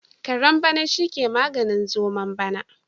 Kare bana shi ke maganin zomon bana.